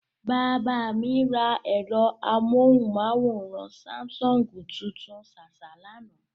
Bàbá mi ra ẹ̀rọ amóhùnmáwòrán Sáḿsọ̀ngì tuntun ṣáṣá lánàá.